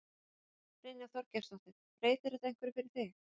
Brynja Þorgeirsdóttir: Breytir þetta einhverju fyrir þig?